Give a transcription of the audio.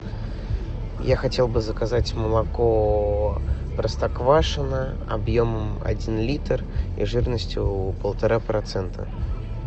я хотел бы заказать молоко простоквашино объемом один литр и жирностью полтора процента